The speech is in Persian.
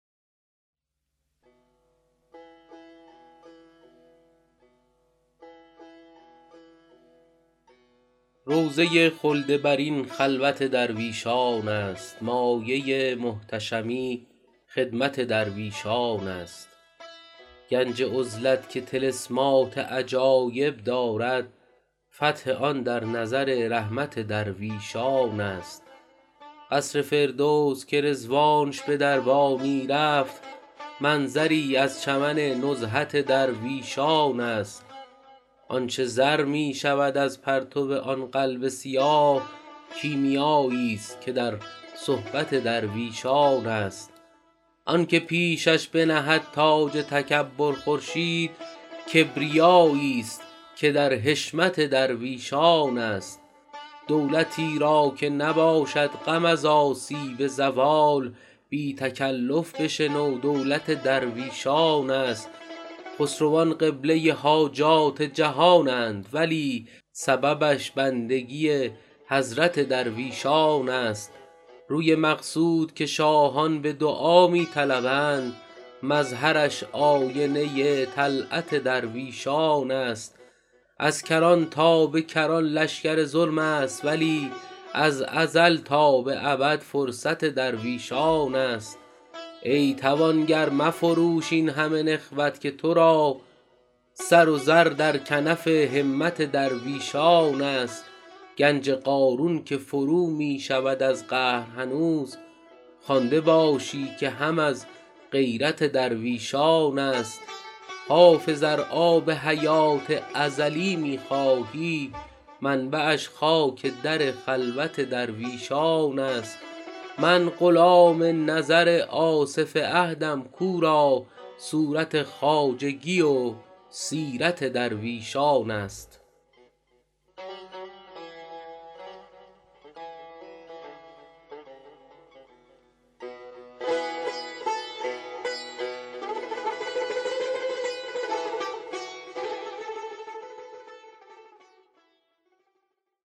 روضه خلد برین خلوت درویشان است مایه محتشمی خدمت درویشان است گنج عزلت که طلسمات عجایب دارد فتح آن در نظر رحمت درویشان است قصر فردوس که رضوانش به دربانی رفت منظری از چمن نزهت درویشان است آن چه زر می شود از پرتو آن قلب سیاه کیمیاییست که در صحبت درویشان است آن که پیشش بنهد تاج تکبر خورشید کبریاییست که در حشمت درویشان است دولتی را که نباشد غم از آسیب زوال بی تکلف بشنو دولت درویشان است خسروان قبله حاجات جهانند ولی سببش بندگی حضرت درویشان است روی مقصود که شاهان به دعا می طلبند مظهرش آینه طلعت درویشان است از کران تا به کران لشکر ظلم است ولی از ازل تا به ابد فرصت درویشان است ای توانگر مفروش این همه نخوت که تو را سر و زر در کنف همت درویشان است گنج قارون که فرو می شود از قهر هنوز خوانده باشی که هم از غیرت درویشان است حافظ ار آب حیات ازلی می خواهی منبعش خاک در خلوت درویشان است من غلام نظر آصف عهدم کو را صورت خواجگی و سیرت درویشان است